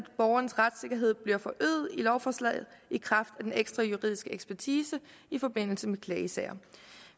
borgerens retssikkerhed bliver forøget med lovforslaget i kraft af den ekstra juridiske ekspertise i forbindelse med klagesager